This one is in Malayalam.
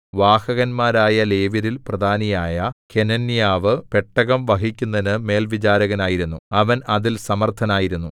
വാഹകന്മാരായ ലേവ്യരിൽ പ്രധാനിയായ കെനന്യാവു പെട്ടകം വഹിക്കുന്നതിന് മേൽവിചാരകനായിരുന്നു അവൻ അതിൽ സമർത്ഥനായിരുന്നു